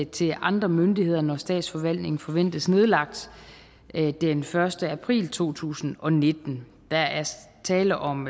til andre myndigheder når statsforvaltningen forventes nedlagt den første april to tusind og nitten der er tale om